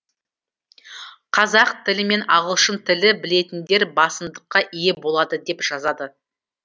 қазақ тілі мен ағылшын тілін білетіндер басымдыққа ие болады деп жазады